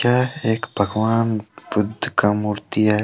यह एक भगवान बुद्ध का मूर्ति है।